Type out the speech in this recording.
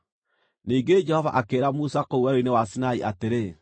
Ningĩ Jehova akĩĩra Musa kũu Werũ-inĩ wa Sinai atĩrĩ,